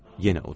Yenə uddu.